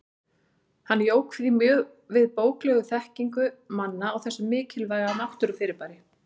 Hann jók því mjög við bóklega þekkingu manna á þessu mikilvæga náttúrufyrirbæri.